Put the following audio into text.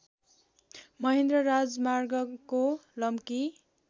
महेन्द्र राजमार्गको लम्की